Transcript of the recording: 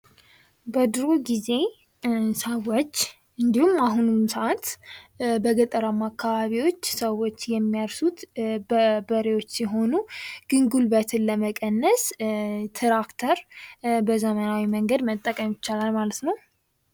በድሮ ጊዜ ሰዎች እንዲሁም አሁንም ሰዓት በገጠራማ አካባቢዎች ሰዎች የሚያርሱት በበሬዎች ሲሆን ግን ጉልበትን ለመቀነስ ትራክተር በዘመናዊ መንገድ መጠቀም ይቻላል ማለት ነው።